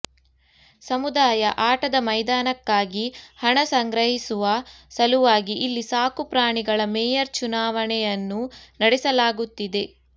ಸಮುದಾಯ ಆಟದ ಮೈದಾನಕ್ಕಾಗಿ ಹಣ ಸಂಗ್ರಹಿಸುವ ಸಲುವಾಗಿ ಇಲ್ಲಿ ಸಾಕು ಪ್ರಾಣಿಗಳ ಮೇಯರ್ ಚುನಾವಣೆಯನ್ನು ನಡೆಸಲಾಗುತ್ತಿದೆ